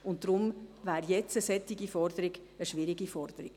Deshalb wäre eine solche Forderung jetzt eine schwierige Forderung.